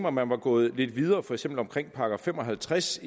at man var gået lidt videre for til § fem og halvtreds